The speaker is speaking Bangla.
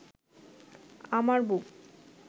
আমার বুক